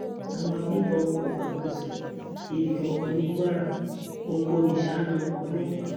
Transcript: àwọn agbébọn kò gbàkóso ibì kankan ní kwara okoniṣána ọlọpàá